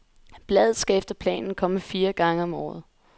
Bladet skal efter planen komme fire gange om året.